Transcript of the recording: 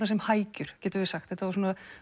sem hækjur getum við sagt þetta var